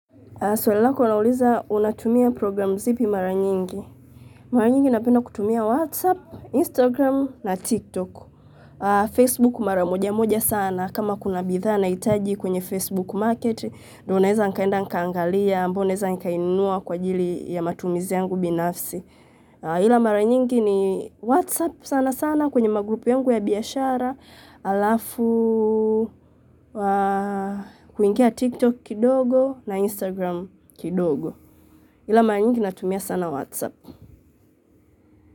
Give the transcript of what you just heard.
Swali lako lauliza unatumia programu zipi mara nyingi. Mara nyingi napenda kutumia Whatsapp, Instagram na TikTok. Facebook mara moja moja sana kama kuna bidhaa nahitaji kwenye Facebook market. Na naweza kuenda nikaangalia ambao naeza nikainunua kwa ajili ya matumizi yangu binafsi ila mara nyingi ni Whatsapp sana sana kwenye magrupu yangu ya biashara. Alafu kwa kuingia TikTok kidogo na Instagram kidogo ila mara nyingi natumia sana Whatsapp.